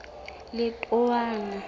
letowana